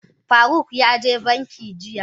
Faruk ya je banki jiya.